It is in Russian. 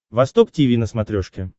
восток тиви на смотрешке